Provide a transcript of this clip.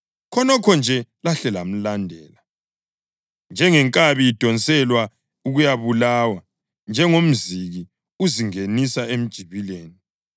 Khonokho nje lahle lamlandela njengenkabi idonselwa ukuyabulawa, njengomziki uzingenisa emjibileni,